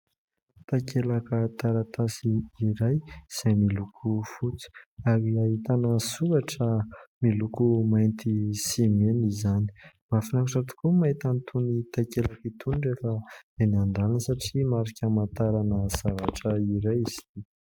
Takelaka taratasy iray izay miloko fotsy ary ahitana soratra miloko mainty sy mena izany. Mahafinaritra tokoa ny mahita an'itony takelaka itony rehefa eny an-dalana satria marika amantarana zavatra iray izy itỳ.